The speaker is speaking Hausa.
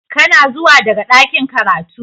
Kana zuwa daga ɗakin karatu?.